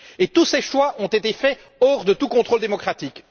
Tous ces choix ont été faits hors de tout contrôle démocratique.